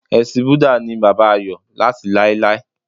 Elésìn Búdà ni bàbá Ayò láti láéláé